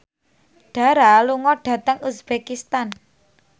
Dara lunga dhateng uzbekistan